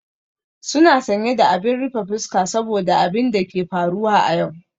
Suna sanye da abin rufe fuska saboda abin da ke faruwa a yau.